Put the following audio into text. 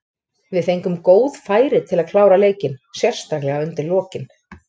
Við fengum góð færi til að klára leikinn, sérstaklega undir lokin.